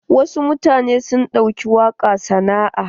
Wasu mutanen sun ɗauki waƙa sana'a.